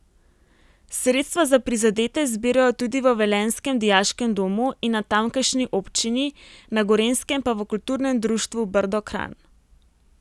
Sredstva za prizadete zbirajo tudi v velenjskem dijaškem domu in na tamkajšnji občini, na Gorenjskem pa v Kulturnem društvu Brdo Kranj.